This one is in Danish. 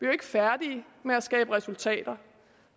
jo ikke færdige med at skabe resultater